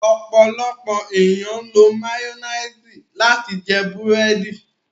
Ọ̀pọ̀lọ̀pọ̀ ènìyàn ló mayonnaise láti jẹ bẹ̀rẹ̀dì.